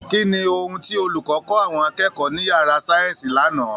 Kí ni ohun tí olùkọ́ kọ̀ àwọn akẹ́kọ̀ọ́ ní yàrá sáyẹ́ǹsì lánàá!